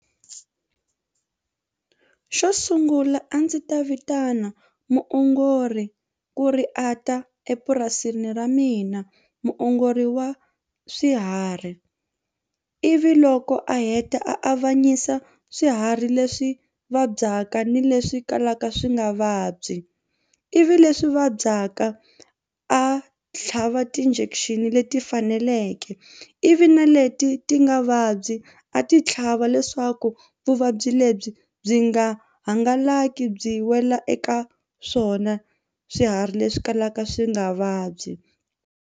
Xo sungula a ndzi ta vitana muongori ku ri a ta epurasini ra mina muongori wa swiharhi ivi loko a heta a avanyisa swiharhi leswi vabyaka ni leswi kalaka swi nga vabyi ivi leswi vabyaka a tlhava ti-injection leti faneleke eke ivi na leti ti nga vabyi a ti tlhava leswaku vuvabyi lebyi byi nga hangalaki byi wela eka swona swiharhi leswi kalaka swi nga vabyi.